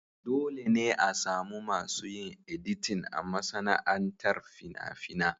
Dole ne a samu masu yin editin a masana'antar fina-fina.